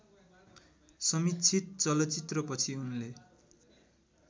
समीक्षित चलचित्रपछि उनले